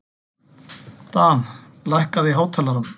Dan, lækkaðu í hátalaranum.